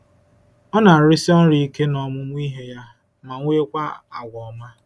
Ọ na-arụsi ọrụ ike n’ọmụmụ ihe ya, ma nwekwa àgwà ọma.”